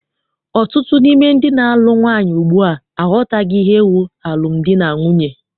Ọtụtụ n'ime ndị na-alụ nwaanyị ugbua aghọtaghị ihe bụ alụmdi na nwunye.